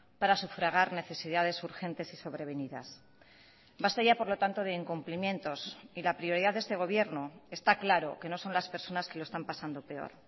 para sufragar necesidades urgentes y sobrevenidas basta ya por lo tanto de incumplimientos y la prioridad de este gobierno está claro que no son las personas que lo están pasando peor